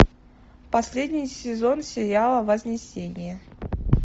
последний сезон сериала вознесение